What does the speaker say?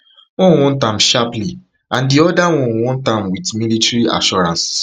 one want am sharply and di oda want am wit military assurances